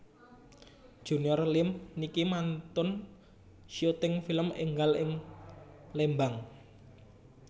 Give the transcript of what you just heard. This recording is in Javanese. Junior Liem niki mantun syuting film enggal ing Lembang